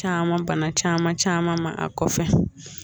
Caman bana caman caman ma a kɔfɛ